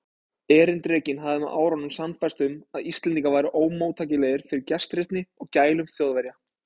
Erindrekinn hafði með árunum sannfærst um, að Íslendingar væru ómóttækilegir fyrir gestrisni og gælum Þjóðverja.